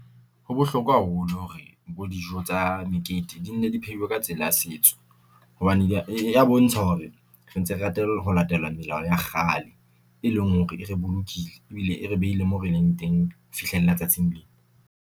Ho bohlokwa haholo hore bo dijo tsa mekete di nne di pheuwe ka tsela ya setso. Hobane ya bontsha hore re ntse re rata ho latela melao ya kgale, e leng hore e re bolokile ebile e re beile mo re leng teng ho fihlela tsatsing lena.